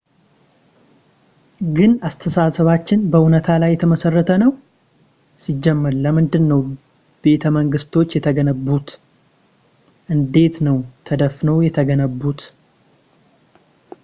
ግን አስተሳሰባችን በዕውነታ ላይ የተመሰረተ ነው ሲጀመር ለምንድን ነው ቤተመንግስቶች የተገነቡት እንዴት ነው ተነድፈው የተገነቡት